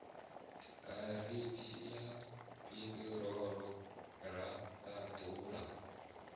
garatshini ya piṱirolo ra ṱandula